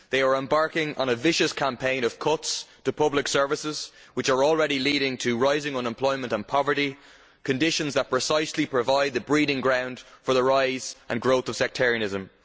They are embarking on a vicious campaign of cuts to public services which are already leading to rising unemployment and poverty conditions which precisely provide the breeding ground for the rise and growth of sectarianism.